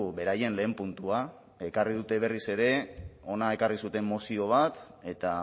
beraien lehen puntua ekarri dute berriz ere hona ekarri zuten mozio bat eta